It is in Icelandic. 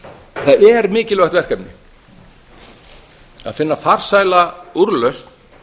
það er mikilvægt verkefni að finna farsæla úrlausn